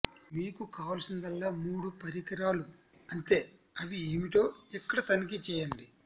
మీకు కావలసిందల్లా మూడు పరికరాలు అంతే అవి ఏమిటో ఇక్కడ తనిఖీ చేయండి